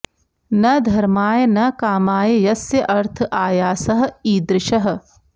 न धर्माय न कामाय यस्य अर्थ आयासः ईदृशः